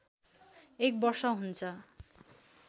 एक वर्ष हुन्छ